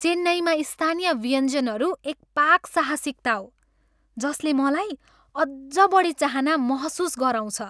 चेन्नईमा स्थानीय व्यञ्जनहरू एक पाक साहसिकता हो जसले मलाई अझ बढी चाहना महसुस गराउँछ।